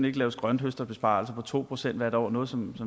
ikke laves grønthøsterbesparelser på to procent hvert år noget som